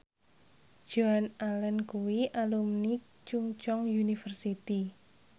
Joan Allen kuwi alumni Chungceong University